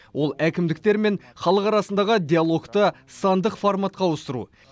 ол әкімдіктер мен халық арасындағы диалогты сандық форматқа ауыстыру